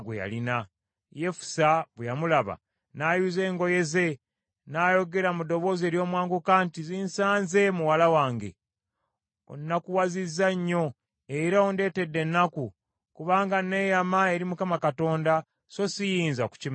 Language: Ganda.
Yefusa bwe yamulaba, n’ayuza engoye ze, n’ayogera mu ddoboozi ery’omwanguka nti, “Zinsaze muwala wange. Onnakuwazizza nnyo, era ondeetedde ennaku, kubanga neeyama eri Mukama Katonda, so siyinza kukimenyawo.”